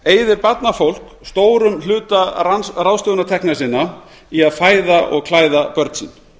eyðir barnafólk stórum hluta ráðstöfunartekna sinna í að fæða og klæða börn sín